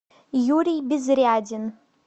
юрий безрядин